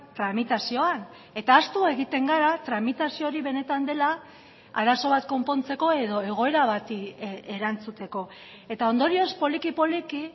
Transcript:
tramitazioan eta ahaztu egiten gara tramitazio hori benetan dela arazo bat konpontzeko edo egoera bati erantzuteko eta ondorioz poliki poliki